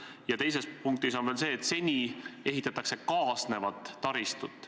Ja teises punktis on kirjas, et seni ehitatakse kaasnevat taristut.